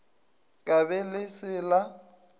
ka be le se la